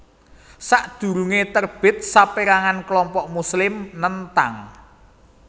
Sadurunge terbit saperangan kelompok Muslim nentang